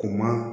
Kuma